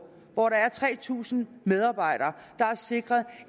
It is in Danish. hvor der er tre tusind medarbejdere er sikret